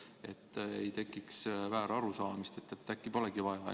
Ei tohi tekkida väärarusaamist, et äkki teist süsti polegi vaja.